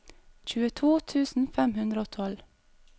tjueto tusen fem hundre og tolv